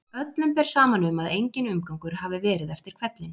Öllum ber saman um að enginn umgangur hafi verið eftir hvellinn.